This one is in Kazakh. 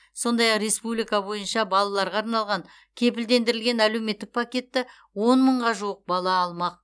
сондай ақ республика бойынша балаларға арналған кепілдендірілген әлеуметтік пакетті он мыңға жуық бала алмақ